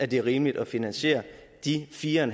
det er rimeligt at finansiere de fire